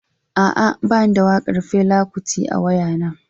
A'a, ba ni da waƙar Fela Kuti a waya naa.